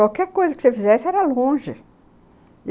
Qualquer coisa que você fizesse era longe.